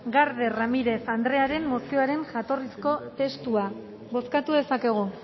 garde ramirez andrearen mozioaren jatorrizko testua bozkatu dezakegu